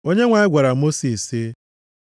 Onyenwe anyị gwara Mosis sị,